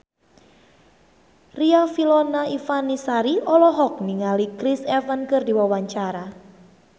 Riafinola Ifani Sari olohok ningali Chris Evans keur diwawancara